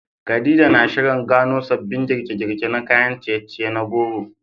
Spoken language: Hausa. Khadija na shirin gano sabbin girke-girke na kayan ciye-ciye na goro